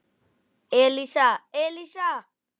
Elísa, Elísa!